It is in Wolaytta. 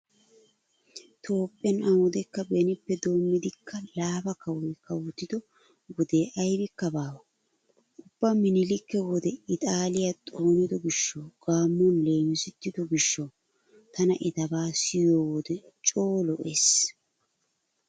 Toophphiyan awudekka benippe doommidikka laafa kawoy kawotido wode aybikka baawa. Ubba miniliika wode ixaaliya xoonido giishshawu gaammuwan leemisettido gishshawu tana etabaa siyiyo wode coo lo'ees.